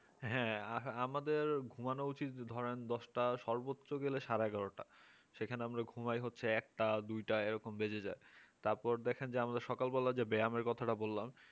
হ্যাঁ আমাদের ঘুমানো উচিত ধরেন দশটা সর্বোচ্চ গেলে হচ্ছে সাড়ে এগারোটা সেখানে আমরা আমরা সেখানে ঘুমাই হচ্ছে একটা দুইটা এরকম বেজে যায় তারপর দেখেন যে আমরা সকাল বেলা যে ব্যায়ামের কথাটা বললাম